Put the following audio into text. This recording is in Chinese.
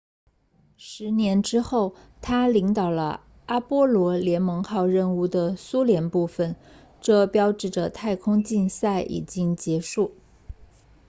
十年之后他领导了阿波罗联盟号任务的苏联部分这标志着太空竞赛已经结束